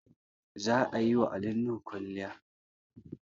Za a yi wa Ali Nuhu kwalliay